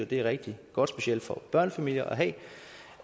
det er rigtig godt specielt for børnefamilier at